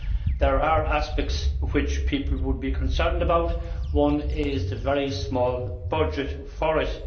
There are aspects which people would be concerned about, and one is the very small budget for it